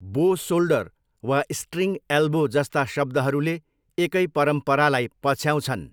बो सोल्डर वा string elbow जस्ता शब्दहरूले एकै परम्परालाई पछ्याउँछन्।